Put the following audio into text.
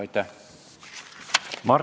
Aitäh!